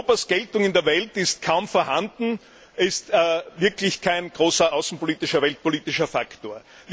Europas Geltung in der Welt ist kaum vorhanden, Europa ist wirklich kein großer außenpolitischer, weltpolitischer Faktor.